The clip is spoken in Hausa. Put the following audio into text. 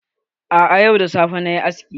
A'a, yau da safe na yi aski.